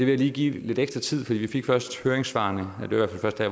jeg lige give lidt ekstra tid for vi fik først høringssvarene her